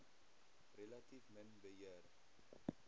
relatief min beheer